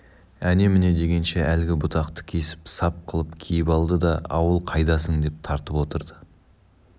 әне-міне дегенше әлгі бұтақты кесіп сап қылып киіп алды да ауыл қайдасың деп тартып отырды